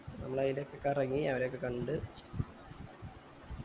നമ്മൾ അതിലൊക്കെ കറങ്ങി അവരൊക്കെ കണ്ട്